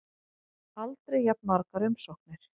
Aldrei jafn margar umsóknir